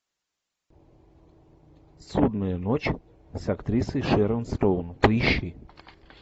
судная ночь с актрисой шэрон стоун поищи